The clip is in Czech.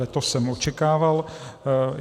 Veto jsem očekával.